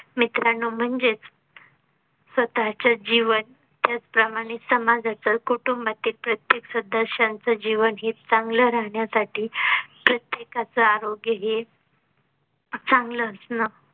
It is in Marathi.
मित्रांना म्हणजेच स्वतः चे जीवन त्याचप्रमाणे समाजाचा कुटुंबातील प्रत्येक सदस्याचे जीवन ही चांगलं राहण्या साठी प्रत्येकाच आरोग्य हे चांगला असणं